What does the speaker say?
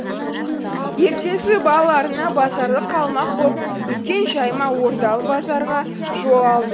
ертесі балаларына базарлық алмақ боп үлкен жәймә ордалы базарға жол алды